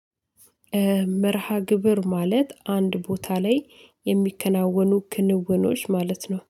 መርሃ ግብር ማለት አንድ ቦታ ላይ የሚከናወኑ ክንውኖች ማለት ነው